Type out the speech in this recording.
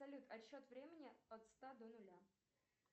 салют отсчет времени от ста до нуля